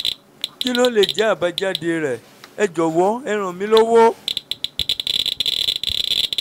kí ló lè jẹ́ àbájáde rẹ̀? ẹ jọ̀wọ́ ẹ ràn mí lọ́wọ́